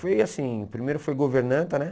Foi assim, primeiro foi governanta, né?